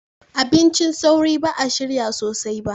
Abincin sauri ba a shirya sosai ba